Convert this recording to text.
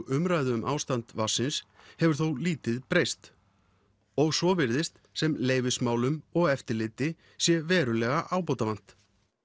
umræðu um ástand vatnsins hefur þó lítið breyst og svo virðist sem leyfismálum og eftirliti sé verulega ábótavant